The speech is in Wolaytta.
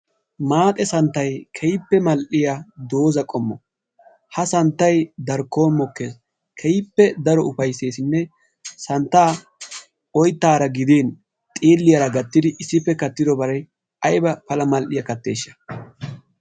Maaxe santtayi keehippe mall"iya dooza qommo ha santtayi darkkon mokkes keehippe daro ufaysseesinne santtaa oyttaara gidin xiilliyara gattidi issippe kattobare ayba pala mall"iya katteeshsha.